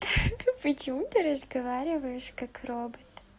почему ты разговариваешь как робот